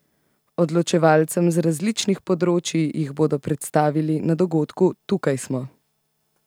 Odločevalcem z različnih področij jih bodo predstavili na dogodku Tukaj smo!